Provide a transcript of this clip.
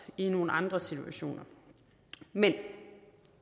i nogle andre situationer men